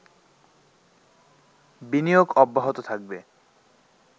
বিনিয়োগ অব্যাহত থাকবে